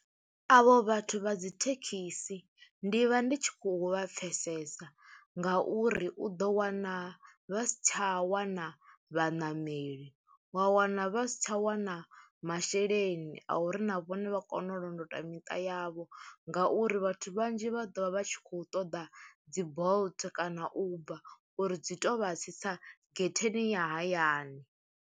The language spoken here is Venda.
Avho vhathu vha dzi thekhisi ndi vha ndi tshi khou vha pfhesesa nga uri u ḓo wana vha si tsha wana vhaṋameli, wa wana vha si tsha wana masheleni a uri na vhone vha kone u londota miṱa yavho ngauri vhathu vhanzhi vha ḓo vha vha tshi khou ṱoḓa dzi Bolt kana Uber uri dzi tou vha tsitsa getheni ya hayani.